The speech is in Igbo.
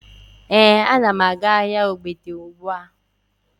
Ee, ana m aga ahịa ogbete ugbua